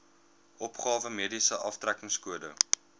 opgawe mediese aftrekkingskode